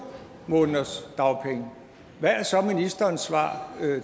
måneders dagpenge hvad er så ministerens svar